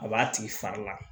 A b'a tigi fari la